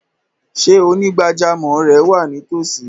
Ṣé onígbàjámọ̀ rẹ wa ní ìtòòsí?